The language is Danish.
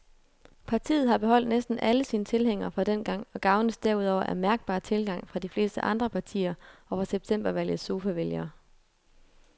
Partiet har beholdt næsten alle sine tilhængere fra dengang og gavnes derudover af mærkbar tilgang fra de fleste andre partier og fra septembervalgets sofavælgere.